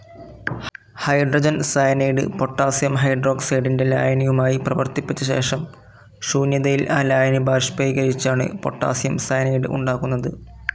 Hydrogen cyanide potassium ഹൈഡ്രോക്സൈഡിൻ്റെ ലായനിയുമായി പ്രവർത്തിപ്പിച്ചശേഷം ശൂന്യതയിൽ ആ ലായനി ബാഷ്പ്പീകരിച്ചാണ് പൊട്ടാസിയം സയനൈഡ്‌ ഉണ്ടാക്കുന്നത്.